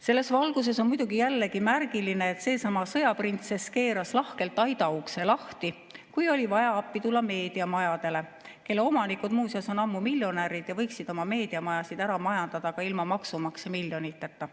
Selles valguses on muidugi märgiline, et seesama sõjaprintsess keeras lahkelt aidaukse lahti, kui oli vaja appi tulla meediamajadele, kelle omanikud muuseas on ammu miljonärid ja võiksid oma meediamajasid ära majandada ka ilma maksumaksja miljoniteta.